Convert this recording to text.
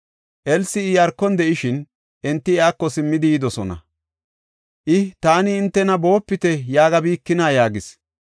Elsi Iyaarkon de7ishin, enti iyako simmidi yidosona. I, “Taani hintena ‘Boopite’ yaagabikinaa?” yaagis.